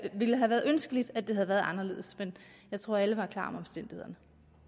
ville have været ønskeligt at det havde været anderledes men jeg tror at alle var klar over omstændighederne